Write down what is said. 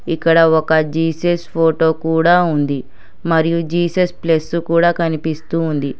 ఇక్కడ ఒక Jesus photo కూడ ఉంది మరియు జీసెస్ ప్లస్సు కూడ కనిపిస్తూ ఉంది.